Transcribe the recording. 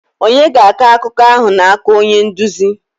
Ònye ga-akọ akụkọ ahụ n'aka onye nduzi?